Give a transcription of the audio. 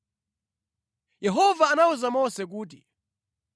Yehova anawuza Mose kuti,